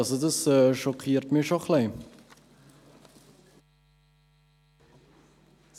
Dies schockiert mich schon ein wenig.